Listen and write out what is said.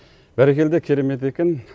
бәрекелді керемет екен